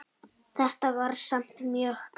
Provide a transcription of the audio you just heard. Þetta var samt mjög gaman.